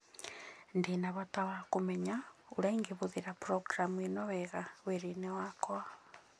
Ndĩ na bata wa kũmenya ũrĩa ingĩhũthĩra programu ĩno wega wĩra-inĩ wakwa.